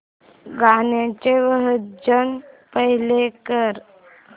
गाण्याचे version play कर